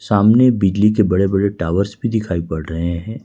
सामने बिजली के बड़े बड़े टॉवर्स भी दिखाई पड़ रहे हैं।